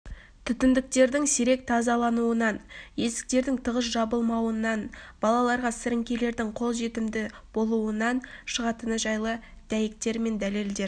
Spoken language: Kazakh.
түтіндіктердің сирек тазалануынан есіктерінің тығыз жабылмауынан балаларға сіріңкелердің қолжетімді болуынан шығатыны жайлы дәйектер мен дәлелдер